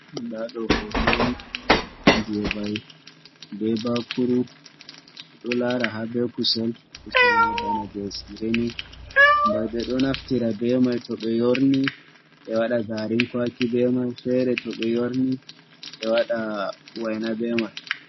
Ndaa ɗoo "hooto" on jey mbay bee baakuru. Mi ɗo laara ha bee kusel, kusel may bana jey "siire" ni. Mbay ɓe ɗo naftira bee may to ɓe yoorni ɓe waɗa "gaarin kwaaki" bee may, feere to ɓe yoorni ɓe waɗa "wayna" bee may.